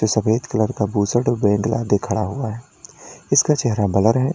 ये सफेद कलर का खड़ा हुआ है इसका चेहरा ब्लर है।